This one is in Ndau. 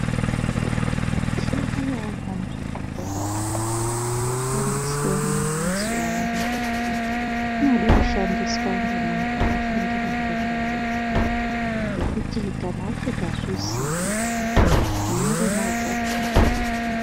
Mithi yedu yaamo kuzvibhedhlera umu inoshandiswemwo mazuva ano inode kushandiswa ngemuntu wakafundira ngezvayo ngekuti kana usingazviziyi unoremadza muntu